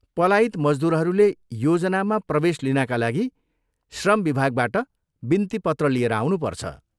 पलायित मजदुरहरूले योजनामा प्रवेश लिनाका लागि श्रम विभागबाट बिन्ती पत्र लिएर आउनुपर्छ।